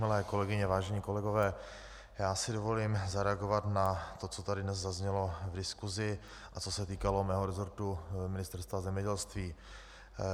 Milé kolegyně, vážení kolegové, já si dovolím zareagovat na to, co tady dnes zaznělo v diskusi a co se týkalo mého resortu Ministerstva zemědělství.